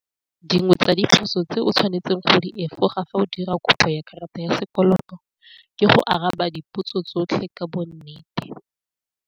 Dingwe tsa diphoso tse o tshwanetseng go di efoga fa o dira kopo ya karata ya sekoloto ke go araba dipotso tsotlhe ka bo nnete.